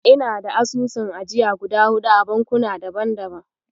Ina da asusun ajiya guda huɗu a bankuna daban-daban.